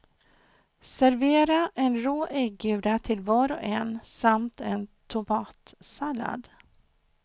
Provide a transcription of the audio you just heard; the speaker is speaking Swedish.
Servera en rå äggula till var och en samt en tomatsallad.